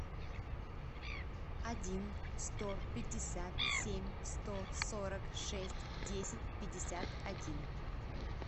один сто пятьдесят семь сто сорок шесть десять пятьдесят один